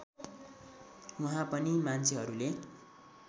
वहाँ पनि मान्छेहरूले